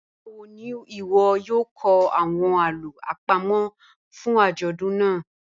Nigbawo ni iwọ yoo kọ awọn alo apamo fun ajọdun naa?